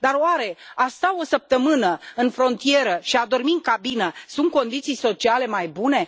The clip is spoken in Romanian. Dar, oare, a sta o săptămână în frontieră și a dormi în cabină sunt condiții sociale mai bune?